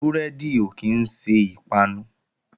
Búrẹ́dì ò kí ń ṣe ìpanu